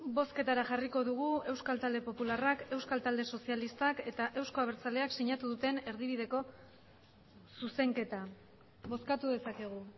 bozketara jarriko dugu euskal talde popularrak euskal talde sozialistak eta euzko abertzaleak sinatu duten erdibideko zuzenketa bozkatu dezakegu